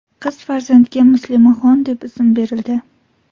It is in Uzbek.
Qiz farzandga Muslimaxon deb ism berildi.